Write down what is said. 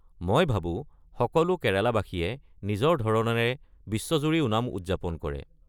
মই ভাবো সকলো কেৰালাবাসীয়ে নিজৰ ধৰণেৰে বিশ্বজুৰি ওনাম উদযাপন কৰে।